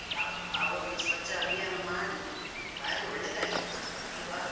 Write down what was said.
ಆ ಆ ಒಂದು ಸ್ವಚ್ಛ ಅಭಿಯಾನ ಮಾಡಿ, ಬಾರಿ ಒಳ್ಳೆದಾಯ್ತು ಮಾತ್ರ, ಆಲ್ವಾ?